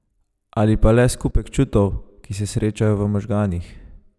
Ali pa le skupek čutov, ki se srečajo v možganih?